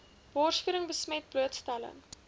borsvoeding besmet blootstelling